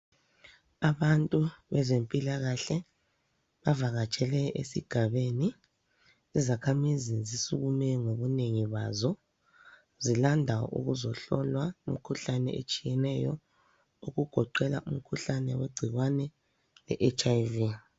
Abantu bezempilakahle bavakatshele esigabeni izakhamizi zisukume ngobunegi bazo, zilanda ukuzohlolwa imkhuhlane etshiyeneyo okugoqela umkhuhlane wegcikwane le hiv.